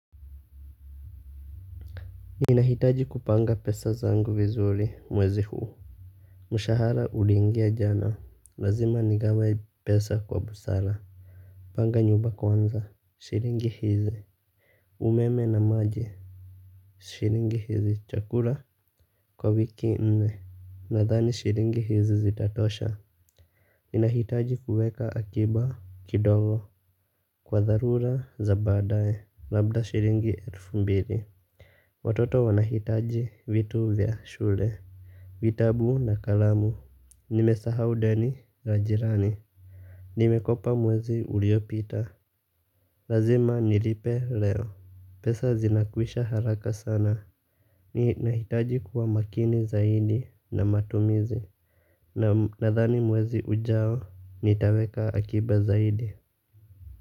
Ninahitaji kupanga pesa zangu vizuri mwezi huu. Mshahara uliingia jana, lazima nigawe pesa kwa busara. Panga nyumba kwanza, shilingi hizi umeme na maji, shilingi hizi, chakula kwa wiki nne, nadhani shilingi hizi zitatosha. Ninahitaji kuweka akiba kidogo kwa dharura za badaye, labda shilingi elfu mbili. Watoto wanahitaji vitu vya shule. Vitabu na kalamu, nimesahau deni la jirani. Nimekopa mwezi uliopita, lazima nilipe leo. Pesa zinakwisha haraka sana, nina hitaji kuwa makini zaidi na matumizi. Nadhani mwezi ujao, nitaweka akiba zaidi.